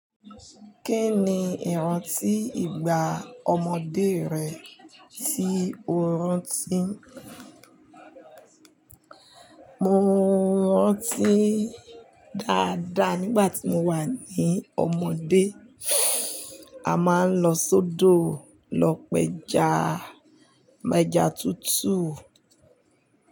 Kí ni ìrántí ìgbà ọmọdé rẹ tí o rántí? Mo rántí dáadáa nígbà tí mo wà ní ọmọdé. A máa ń lọ sọ́dọ̀ lọ pẹ ja, mẹ́jà tuntun.